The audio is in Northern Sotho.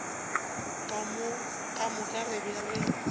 ka moka re be re